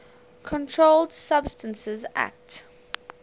controlled substances acte